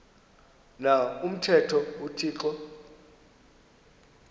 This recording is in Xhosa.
na umthetho uthixo